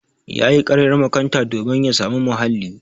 Yayi ƙaryar makanta domin ya samu muhalli.